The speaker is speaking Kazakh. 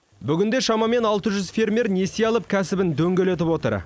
бүгінде шамамен алты жүз фермер несие алып кәсібін дөңгелетіп отыр